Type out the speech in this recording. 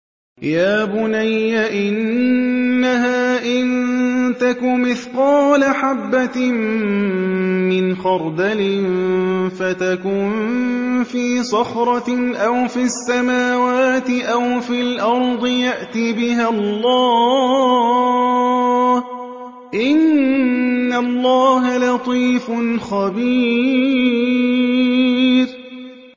يَا بُنَيَّ إِنَّهَا إِن تَكُ مِثْقَالَ حَبَّةٍ مِّنْ خَرْدَلٍ فَتَكُن فِي صَخْرَةٍ أَوْ فِي السَّمَاوَاتِ أَوْ فِي الْأَرْضِ يَأْتِ بِهَا اللَّهُ ۚ إِنَّ اللَّهَ لَطِيفٌ خَبِيرٌ